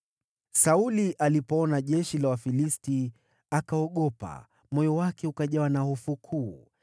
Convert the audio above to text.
Sauli alipoona jeshi la Wafilisti, akaogopa; moyo wake ukajawa na hofu kuu.